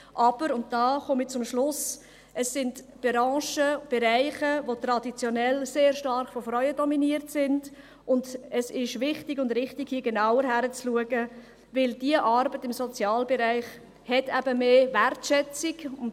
Aber, und damit komme ich zum Schluss, es sind Branchen, Bereiche, die traditionell sehr stark von Frauen dominiert sind, und es ist richtig und wichtig, hier genauer hinzuschauen, weil diese Arbeit im Sozialbereich eben mehr Wertschätzung hat.